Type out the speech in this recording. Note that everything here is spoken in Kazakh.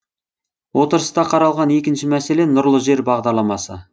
отырыста қаралған екінші мәселе нұрлы жер бағдарламасы